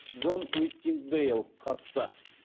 джон уиттингдейл қатысты